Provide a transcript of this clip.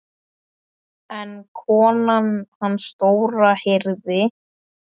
En konan hans Dóra heyrði.